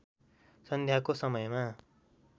सन्ध्याको समयमा